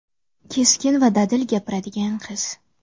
Keskin va dadil gapiradigan qiz.